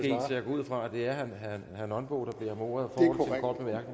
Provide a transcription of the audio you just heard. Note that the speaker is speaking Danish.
jeg går ud fra at det er herre nonbo der beder om ordet for